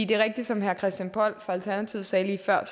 det er rigtigt som herre christian poll fra alternativet sagde lige før at